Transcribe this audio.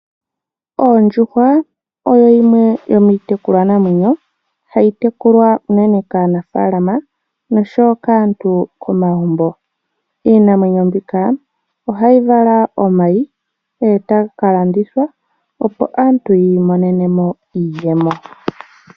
Ondjuhwa oyo yimwe yomiitekulwanamwenyo hayi tekulwa unene kaanafaalama noshowo kaantu komagumbo. Iinamwenyo mbika ohayi vala omayi e taga ka landithwa opo aantu yi imonene mo iiyemo.